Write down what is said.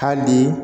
Hali bi